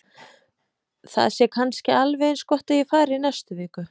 Það sé kannski alveg eins gott að ég fari í næstu viku.